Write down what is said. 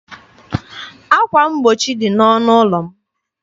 Ákwà mgbochi dị n'ọnụ ụlọ m.